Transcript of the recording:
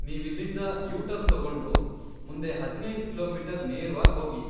ನೀವಿಲ್ಲಿಂದ U turn ತಗೊಂಡು, ಮುಂದೆ ಹದಿನೈದ್ ಕಿಲೋಮೀಟರ್ ನೇರ್ವಾಗ್ ಹೋಗಿ.